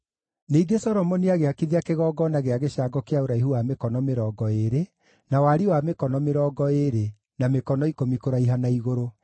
Ningĩ Solomoni agĩakithia kĩgongona gĩa gĩcango kĩa ũraihu wa mĩkono mĩrongo ĩĩrĩ, na wariĩ wa mĩkono mĩrongo ĩĩrĩ, na mĩkono ikũmi kũraiha na igũrũ.